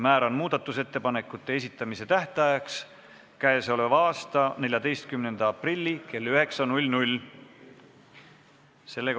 Määran muudatusettepanekute esitamise tähtajaks käesoleva aasta 14. aprilli kell 9.